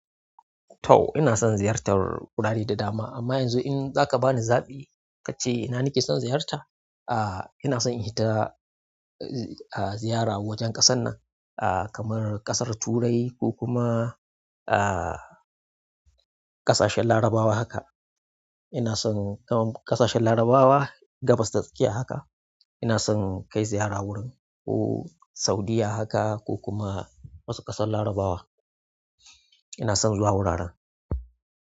To ina son ziyartar wurare da dama amma yanzu in zaka bani zaɓi kace ina nake son ziyarta? Ah ina son in fita ah ziyara wajen ƙasar nan ah kamar ƙasar Turai ko kuma ah ƙasashen larabawa haka. Ina son kamar ƙasashen larabawa gabas ta tsakiya haka ina son kai ziyara wurin ko Saudiya haka ko kuma wasu ƙasar larabawa. Ina son zuwa wuraren.